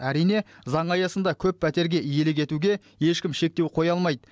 әрине заң аясында көп пәтерге иелік етуге ешкім шектеу қоя алмайды